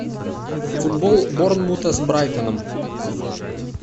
футбол борнмута с брайтоном